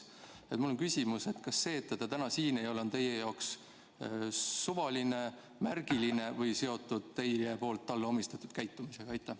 Mul on selline küsimus: kas see, et teda täna siin ei ole, on teie jaoks suvaline, märgiline või seotud teie poolt talle omistatud käitumisega?